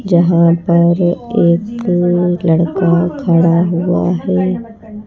जहां पर एक लड़का खड़ा हुआ है।